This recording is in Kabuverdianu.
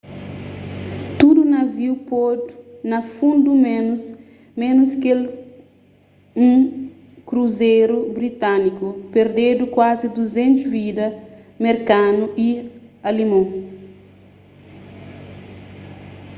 tudu naviu podu na fundu ménus kel un kruzeru britániku perdedu kuazi 200 vidas merkanu y alimon